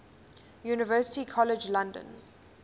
university college london